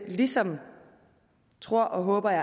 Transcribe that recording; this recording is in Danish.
ligesom tror og håber jeg